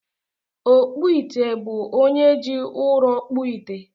Ọkpụite bụ onye ji ụrọ kpụọ ite